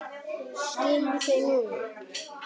Skilur þau núna.